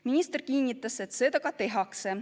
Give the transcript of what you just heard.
Minister kinnitas, et seda ka tehakse.